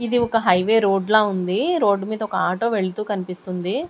ఇది ఒక highway road ల ఉంది రోడ్డు మీద ఒక ఆటో వెళ్తూ కనిపిస్తుంది.